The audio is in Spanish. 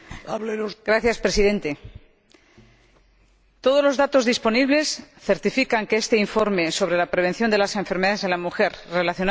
Todos los datos disponibles certifican que este informe sobre la prevención de las enfermedades de la mujer relacionadas con la edad es una cuestión de pura justicia social.